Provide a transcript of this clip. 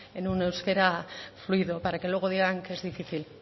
en un euskera fluido para que luego digan que es difícil